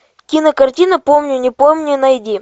кинокартина помню не помню найди